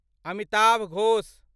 Amitav Ghosh